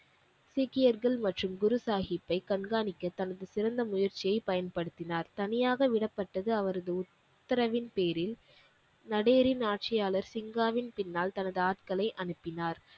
சீக்கியர்கள் மற்றும் குரு சாஹிப்பை கண்காணிக்க தனது சிறந்த முயற்சியை பயன்படுத்தினார் தனியாக விடப்பட்டது அவரது உத்தரவின் பேரில் நடேரின் ஆட்சியாளர் சிங்காவின் பின்னால் தனது ஆட்களை அனுப்பினார்